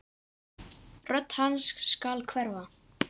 Rödd hans skal hverfa.